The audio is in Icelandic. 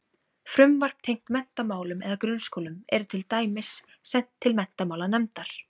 Frumvarp tengt menntamálum eða grunnskólum er til dæmis sent til menntamálanefndar.